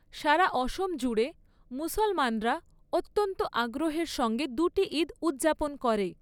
সারা অসম জুড়ে মুসলমানরা অত্যন্ত আগ্রহের সঙ্গে দুটি ঈদ উদযাপন করে।